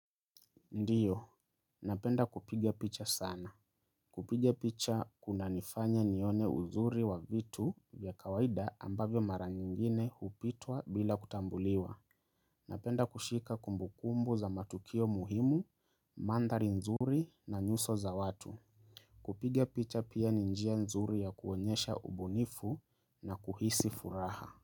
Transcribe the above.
Ndio, napenda kupiga picha sana. Kupiga picha kuna nifanya nione uzuri wa vitu vya kawaida ambavyo mara nyingine hupitwa bila kutambuliwa. Napenda kushika kumbukumbu za matukio muhimu, mandhari nzuri na nyuso za watu. Kupiga picha pia ni njia nzuri ya kuonyesha ubunifu na kuhisi furaha.